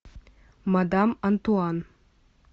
мадам антуан